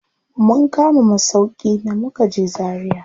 Mun kama masauƙi da mukaje Zaria.